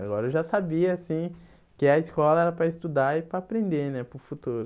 Agora eu já sabia assim que a escola era para estudar e para aprender né para o futuro.